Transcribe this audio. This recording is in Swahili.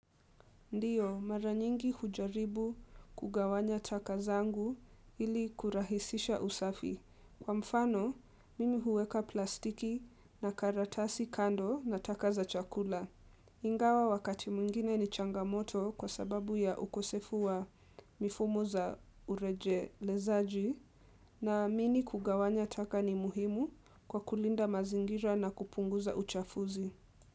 Ndiyo, mara nyingi hujaribu kugawanya taka zangu ili kurahisisha usafi. Kwa mfano, mimi huweka plastiki na karatasi kando na taka za chakula. Ingawa wakati mwingine ni changamoto kwa sababu ya ukosefu wa mifumo za urejelezaji naamini kugawanya taka ni muhimu kwa kulinda mazingira na kupunguza uchafuzi.